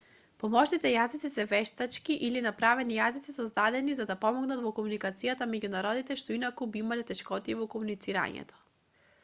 помошните јазици се вештачки или направени јазици создадени за да помогнат во комуникацијата меѓу народите што инаку би имале тешкотии во комуницирањето